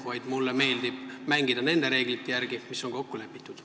Mulle lihtsalt meeldib mängida nende reeglite järgi, mis on kokku lepitud.